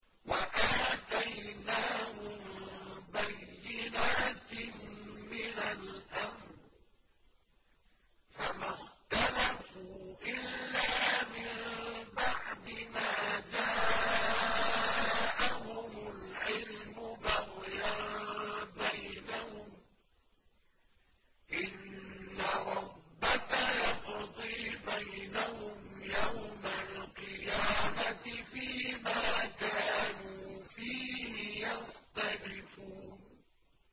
وَآتَيْنَاهُم بَيِّنَاتٍ مِّنَ الْأَمْرِ ۖ فَمَا اخْتَلَفُوا إِلَّا مِن بَعْدِ مَا جَاءَهُمُ الْعِلْمُ بَغْيًا بَيْنَهُمْ ۚ إِنَّ رَبَّكَ يَقْضِي بَيْنَهُمْ يَوْمَ الْقِيَامَةِ فِيمَا كَانُوا فِيهِ يَخْتَلِفُونَ